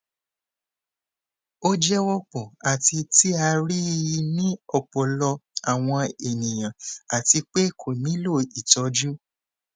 o jẹ wọpọ ati ti a rii ni ọpọlọpọ awọn eniyan ati pe ko nilo itọju